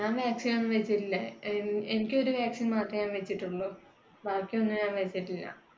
ഞാൻ vaccine ഒന്നും വെച്ചില്ല. എനിക്ക് ഒരു vaccine മാത്രേ ഞാൻ വെച്ചിട്ടുള്ളൂ. ബാക്കി ഒന്നും ഞാൻ വെച്ചിട്ടില്ല.